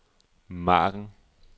margen